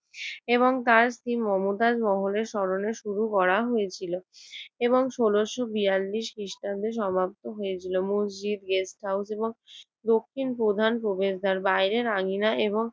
এবং তার স্ত্রী মমতাজ মহলের স্মরণে শুরু করা হয়েছিল এবং ষোলশ বেয়াল্লিশ খ্রিস্টাব্দে সমাপ্ত হয়েছিল। মসজিদ, গেস্ট হাউস এবং দক্ষিণের প্রধান প্রবেশদ্বার বাহিরের আঙ্গিনা এবং